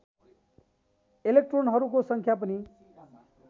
एलेक्ट्रोनहरूको सङ्ख्या पनि